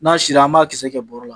N'a sira an b'a kisɛ kɛ bɔrɔ la.